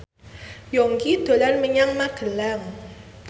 Yongki dolan menyang Magelang